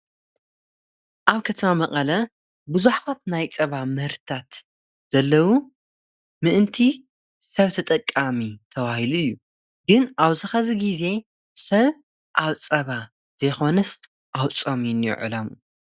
ኣብ ከተማ መቀለ ብዙሓት ናይ ጸባ ምህርትታት ዘለዉ ምእንቲ ሰብ ተጠቃሚ ተባሂሉ እዩ ግን ኣውዝኸዚ ጊዜ ሰብ ኣብ ጸባ ዘይኾንስ ኣብ ጾም እዩ እኒኦ ዕላምኡ።